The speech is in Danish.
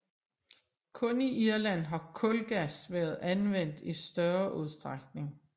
Kun i Irland har kulgas været anvendt i større udstrækning